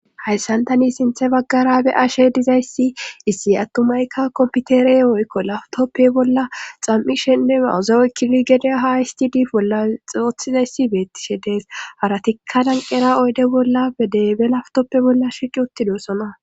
hayssan tani sinthe baggara be ashe dizayssi issi attumaykka kompitere oykko lawtoppe bolla xam7ishenne mawuzawe kili gede haayisdid bolla xoothizayssi beettishe dees haratikka danqera oyde bolla bedebe laftoppe bolla shicc uttidosona